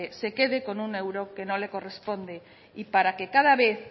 se quede con un euro que no le corresponde y para que cada vez